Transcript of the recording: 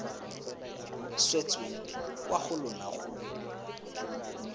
swetseng kwa go lona go